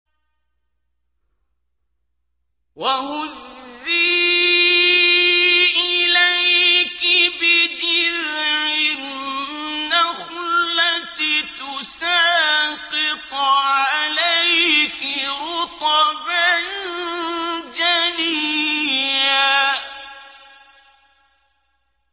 وَهُزِّي إِلَيْكِ بِجِذْعِ النَّخْلَةِ تُسَاقِطْ عَلَيْكِ رُطَبًا جَنِيًّا